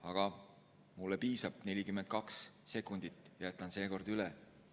Aga mulle piisab, 42 sekundit jääb seekord üle.